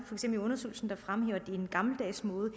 i undersøgelsen der fremhæver at det er en gammeldags måde at